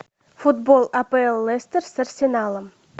футбол апл лестер с арсеналом